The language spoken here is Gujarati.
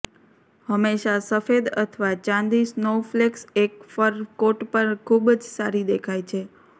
હંમેશા સફેદ અથવા ચાંદી સ્નોવફ્લેક્સ એક ફર કોટ પર ખૂબ જ સારી દેખાય છે